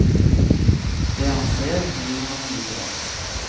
Det han ser, gir han vidare.